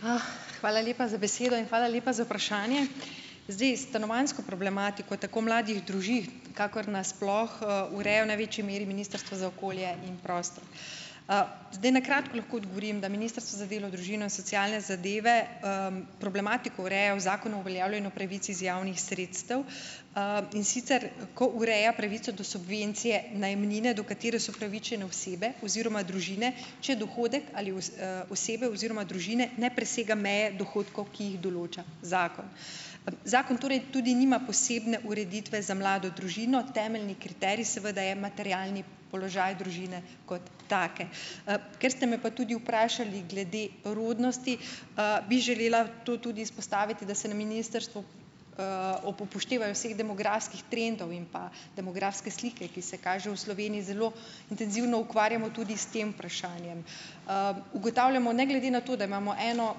Hvala lepa za besedo in hvala lepa za vprašanje. Zdaj stanovanjsko problematiko tako mladih družin kakor na sploh, ureja v največji meri Ministrstvo za okolje in prostor. Zdaj na kratko lahko odgovorim, da Ministrstvo za delo, družine in socialne zadeve, problematiko ureja v Zakonu o uveljavljanju pravic iz javnih sredstev, in sicer ko ureja pravico do subvencije najemnine, do katere so upravičene osebe oziroma družine, če dohodek ali osebe oziroma družine ne presega meje dohodkov, ki jih določa zakon. Zakon torej tudi nima posebne ureditve za mlado družino. Temeljni kriterij seveda je materialni položaj družine kot take. Ker ste me pa tudi vprašali glede rodnosti, bi želela to tudi izpostaviti, da se na ministrstvu, ob upoštevanju vseh demografskih trendov in pa demografske slike, ki se kaže v Sloveniji, zelo intenzivno ukvarjamo tudi s tem vprašanjem. Ugotavljamo ne glede na to, da imamo eno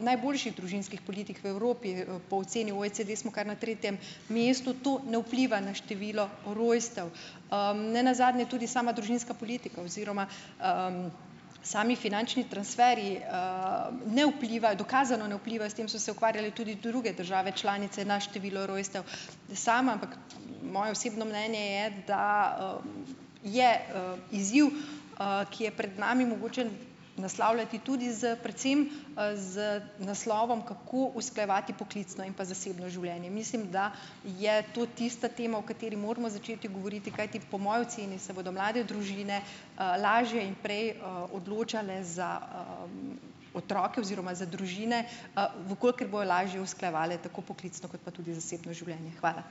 najboljših družinskih politik v Evropi, po oceni OECD smo kar na tretjem mestu, to ne vpliva na število rojstev. Nenazadnje tudi sama družinska politika oziroma, sami finančni transferji, ne vpliva, dokazano ne vplivajo, s tem so se ukvarjale tudi druge države članice, na število rojstev. Sama, ampak moje osebno mnenje je, da, je, izziv, ki je pred nami, mogoče naslavljati tudi s predvsem, z naslovom, kako usklajevati poklicno in pa zasebno življenje. Mislim, da je to tista tema, o kateri moramo začeti govoriti, kajti po moji oceni se bodo mlade družine, lažje in prej, odločale za, otroke oziroma za družine, v kolikor bojo lažje usklajevale tako poklicno kot pa tudi zasebno življenje. Hvala.